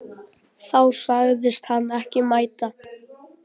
Þá sagðist hann ekki mæta.